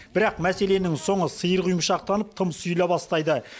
бірақ мәселенің соңы сиыр құйымшақтанып тым сұйыла бастайды